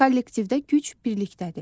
Kollektivdə güc birlikdədir.